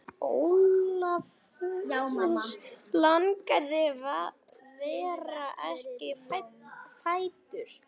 Ólafur Ingi var ekki fæddur.